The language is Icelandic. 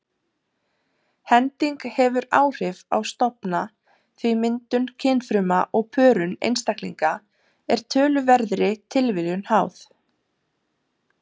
Hending hefur áhrif á stofna því myndun kynfruma og pörun einstaklinga er töluverðri tilviljun háð.